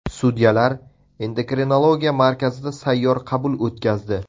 Sudyalar endokrinologiya markazida sayyor qabul o‘tkazdi.